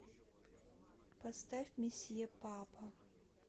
поставь месье папа